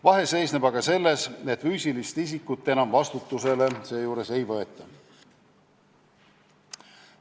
Vahe seisneb aga selles, et füüsilist isikut enam seejuures vastutusele ei võeta.